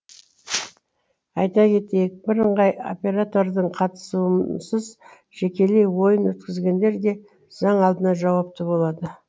айта кетейік бірыңғай оператордың қатысуынсыз жекелей ойын өткізгендер де заң алдында жауапты болады